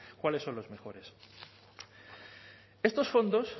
cuáles son los mejores estos fondos